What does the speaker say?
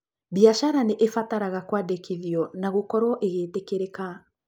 Biacara nĩ ĩbataraga kwandĩkithio na gũkorũo ĩgĩtĩkĩrĩka.